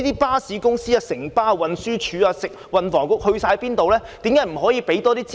巴士公司、運輸署、運輸及房屋局到哪裏去了？